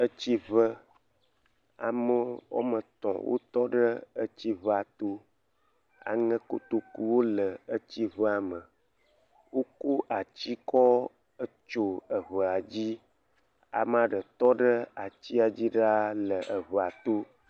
Etsiŋe. Ame woame etɔ̃ wotɔ ɖe tsi ŋea to. Aŋekotoku wole tsi ŋua me. Wokɔ ati kɔ tso eŋea dzi. Ame ɖe tɔ ɖe atia dzi ɖaa le ŋea to.